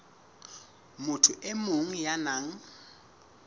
motho e mong ya nang